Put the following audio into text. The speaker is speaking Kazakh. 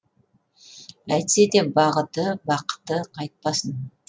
әйтсе де бағыты бақыты қайтпасын